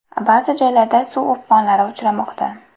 Ba’zi joylarda suv o‘pqonlari uchramoqda.